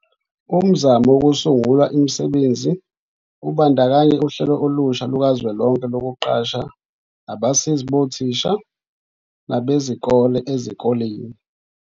Umzamo wokusungula imisebenzi ubandakanya uhlelo olusha lukazwelonke lokuqasha abasizi bothisha nabezikole ezikoleni.